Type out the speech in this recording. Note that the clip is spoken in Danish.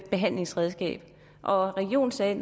behandlingsredskab og regionen sagde